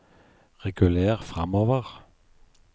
reguler framover